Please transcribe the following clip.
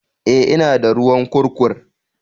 Eh, ina da ruwan kurkur